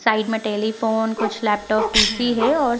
Side में telephone कुछ laptop PC. है और --